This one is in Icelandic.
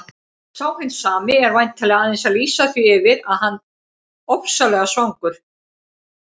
Sá hinn sami er væntanlega aðeins að lýsa því yfir að hann ofsalega svangur.